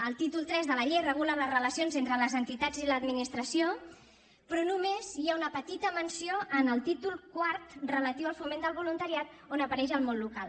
el títol iii de la llei regula les relacions entre les entitats i l’administració però només hi ha una petita menció en el títol quart relatiu al foment del voluntariat on apareix el món local